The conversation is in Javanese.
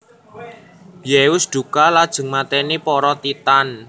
Zeus dukha lajeng mateni para Titan